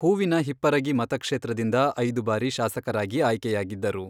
ಹೂವಿನ ಹಿಪ್ಪರಗಿ ಮತಕ್ಷೇತ್ರದಿಂದ ಐದು ಬಾರಿ ಶಾಸಕರಾಗಿ ಆಯ್ಕೆಯಾಗಿದ್ದರು.